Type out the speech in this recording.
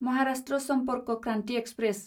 Maharashtra Sampark Kranti express